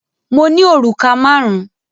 Mo ní òrùka márùn-ún.